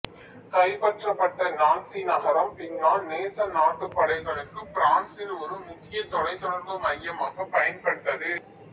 கைப்பற்றப்பட்ட நான்சி நகரம் பின்னால் நேசநாட்டுப் படைகளுக்குப் பிரான்சில் ஒரு முக்கிய தொலைத்தொடர்பு மையமாகப் பயன்பட்டது